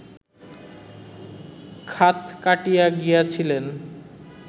খাত কাটিয়া গিয়াছিলেন